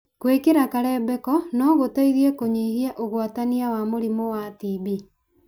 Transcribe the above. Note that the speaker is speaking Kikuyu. Gwĩkĩra karembeko no gũteithie kũnyihia ũgwatania wa mũrimũ wa TB